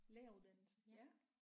Læreruddannelse ja